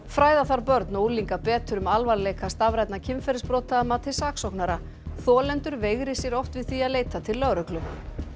fræða þarf börn og unglinga betur um alvarleika stafrænna kynferðisbrota að mati saksóknara þolendur veigri sér oft við því að leita til lögreglu